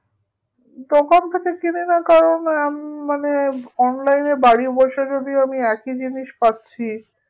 দোকান থেকে কিনিনা কারণ আহ উম মানে online এ বাড়ি বসে যদি আমি একই জিনিস পাচ্ছি